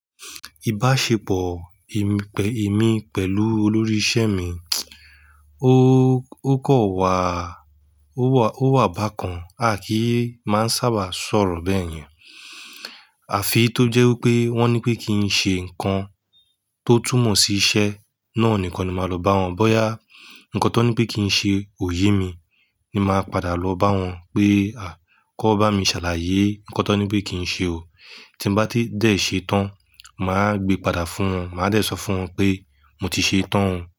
Ìbáṣepọ̀ èmi pẹ̀lú olórí isẹ́ mi, ó kan wà, ó wà bákan. A kì í máa ń sábà sọ̀rọ̀ bẹ́ẹ̀ yẹn. Àfi tó jẹ́ wípé wọ́n ní pé kí n ṣe ǹkan tó túmọ̀ sí isẹ́ náà nìkan ni màá lo bá wọn. Bọ́ya ǹkan tó ní pé kí n ṣe kò yé mi ni màá padà lọ bá wọn pé à kó bá mi ṣàlàyé ǹkan tó ní pé kí n ṣe o. Tí mo bá ti dẹ̀ ṣe tán, màá gbe padà fún wọn. Màá dẹ̀ sọ fún wọn pé mo ti ṣe tán.